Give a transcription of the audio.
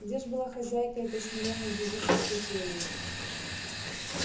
где ж была хозяйка этой смиренной девической кельи